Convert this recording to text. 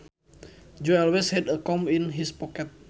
Joe always had a comb in his pocket